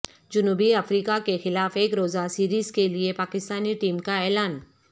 جنوبی افریقہ کے خلاف ایک روزہ سیریز کے لیے پاکستانی ٹیم کا اعلان